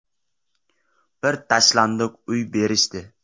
Bir tashlandiq uy berishdi.